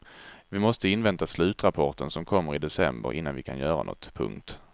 Vi måste invänta slutrapporten som kommer i december innan vi kan göra något. punkt